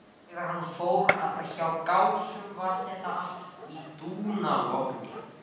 Þegar hann fór hjá Gásum var þar allt í dúnalogni.